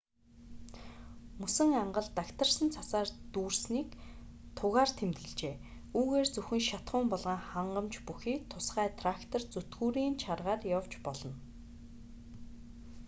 мөсөн ангал дагтаршсан цасаар дүүрсэнийг тугаар тэмдэглэжээ үүгээр зөвхөн шатахуун болон хангамж бүхий тусгай трактор зүтгүүрийн чаргаар явж болно